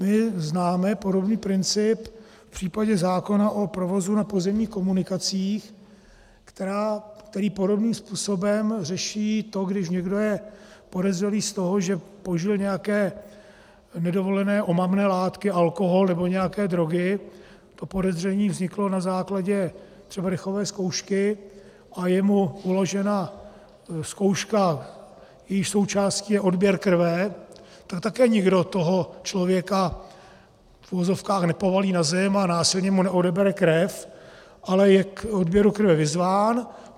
My známe podobný princip v případě zákona o provozu na pozemních komunikacích, který podobným způsobem řeší to, když někdo je podezřelý z toho, že požil nějaké nedovolené omamné látky, alkohol nebo nějaké drogy, to podezření vzniklo na základě třeba dechové zkoušky a je mu uložena zkouška, jejíž součástí je odběr krve, tak také nikdo toho člověka v uvozovkách nepovalí na zem a násilně mu neodebere krev, ale je k odběru krve vyzván.